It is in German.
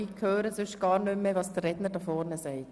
Sonst höre ich gar nicht mehr, was der Redner hier vorne sagt.